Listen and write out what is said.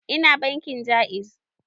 Ina bankin Ja'iz